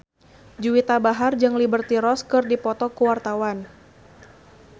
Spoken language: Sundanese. Juwita Bahar jeung Liberty Ross keur dipoto ku wartawan